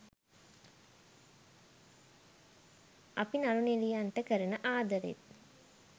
අපි නලු නිලියන්ට කරන ආදරෙත්